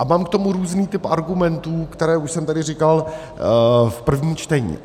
A mám k tomu různý typ argumentů, které už jsem tady říkal v prvním čtení.